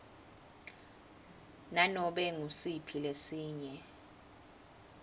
nanobe ngusiphi lesinye